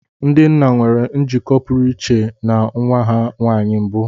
Ndị nna nwere njikọ pụrụ iche na nwa ha nwanyị mbụ.